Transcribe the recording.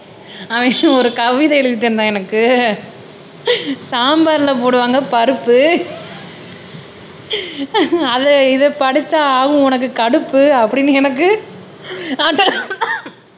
ஒரு கவிதை எழுதி தந்தான் எனக்கு சாம்பார்ல போடுவாங்க பருப்பு இதை படிச்சா உனக்கு ஆகும் கடுப்பு அப்படின்னு எனக்கு